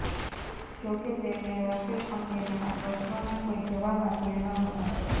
જો કે તેમણે રાફેલ અંગેના પ્રશ્નોના કોઈ જવાબ આપ્યા ન હતા